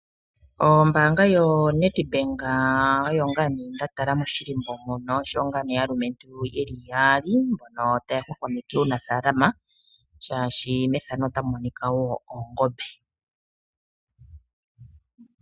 Ombaanga yoNedbank oyo ngaa nee nda tala moshilimbo mono osho wo ngaa nee aalumentu yeli yaali mbono taya hwahwameke uunafaalama shaashi methano otamu monika wo oongombe.